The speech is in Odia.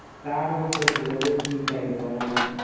ତାର ବି test କରିବ ଦେଶୀ type ର ମାନେ